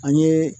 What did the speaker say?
An ye